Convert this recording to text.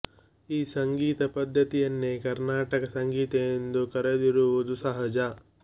ಈ ಸಂಗೀತ ಪದ್ಧತಿಯನ್ನೇ ಕರ್ಣಾಟಕ ಸಂಗೀತ ಎಂದು ಕರೆದಿರುವುದು ಸಹಜ